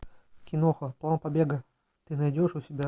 киноха план побега ты найдешь у себя